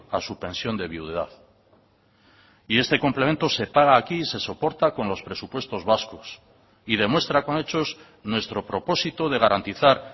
a su pensión de viudedad y este complemento se paga aquí y se soporta con los presupuestos vascos y demuestra con hechos nuestro propósito de garantizar